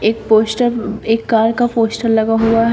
एक पोस्टर एक कार का पोस्टर लगा हुआ है।